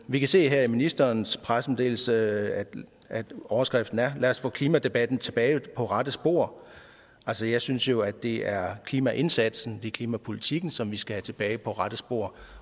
vi kan se her i ministerens pressemeddelelse at overskriften er lad os få klimadebatten tilbage på rette spor altså jeg synes jo at det er klimaindsatsen det er klimapolitikken som vi skal have tilbage på rette spor